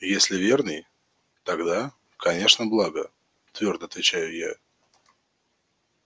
если верный тогда конечно благо твёрдо отвечаю я